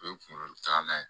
O ye kunkolo taalan ye